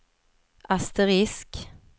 asterisk